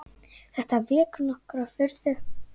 Þetta vekur nokkra furðu.